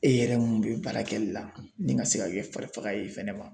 E yɛrɛ mun bɛ baara kɛli la ni ka se ka kɛ fari faga ye fɛnɛ.